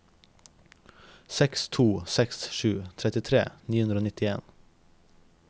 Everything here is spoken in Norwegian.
seks to seks sju trettifire ni hundre og nittien